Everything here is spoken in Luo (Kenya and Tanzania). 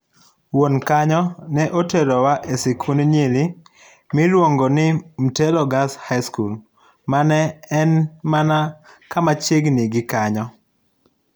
Wuon kanyo ne oterowa e sikund nyiri miluongo ni Mtelo Girls High School mane en mana kamachiegni gi kanyo.